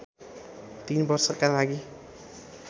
३ वर्षका लागि